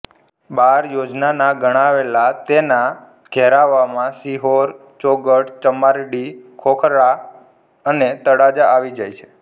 બાર યોજનના ગણાવેલા તેના ઘેરાવામાં સિહોર ચોગઠ ચમારડી ખોખરા અને તળાજા આવી જાય છે